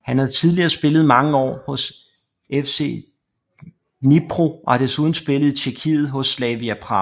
Han har tidligere spillet mange år hos FC Dnipro og har desuden spillet i Tjekkiet hos Slavia Prag